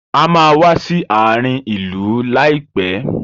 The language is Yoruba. A máa wá sí àárín ìlú láìpẹ́.